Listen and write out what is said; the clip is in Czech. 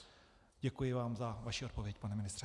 Děkuji vám za vaši odpověď, pane ministře.